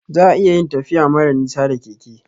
Za'a iya yin tafiya mara nisa da keke